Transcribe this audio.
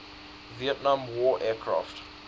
vietnam war aircraft